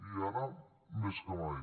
i ara més que mai